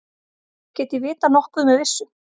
Get ég vitað nokkuð með vissu?